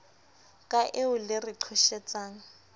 ka eo le re qhoshetsang